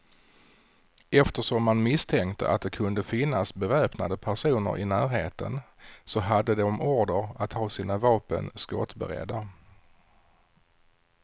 Eftersom man misstänkte att det kunde finnas beväpnade personer i närheten, så hade de order att ha sina vapen skottberedda.